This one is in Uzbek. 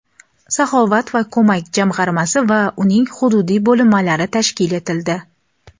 "Saxovat va ko‘mak" jamg‘armasi va uning hududiy bo‘linmalari tashkil etildi.